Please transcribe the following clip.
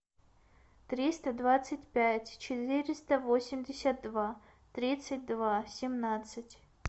триста двадцать пять четыреста восемьдесят два тридцать два семнадцать